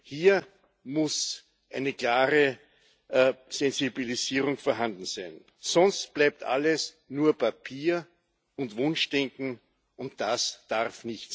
Hier muss eine klare Sensibilisierung vorhanden sein, sonst bleibt alles nur Papier und Wunschdenken, und das darf